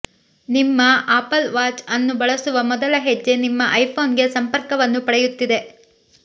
ನಿಮ್ಮ Apple Watch ಅನ್ನು ಬಳಸುವ ಮೊದಲ ಹೆಜ್ಜೆ ನಿಮ್ಮ ಐಫೋನ್ಗೆ ಸಂಪರ್ಕವನ್ನು ಪಡೆಯುತ್ತಿದೆ